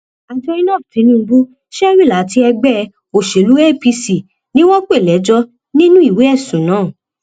àjọ inov tinubu shewil àti ẹgbẹ òsèlú apc ni wọn pè lẹjọ nínú ìwé ẹsùn náà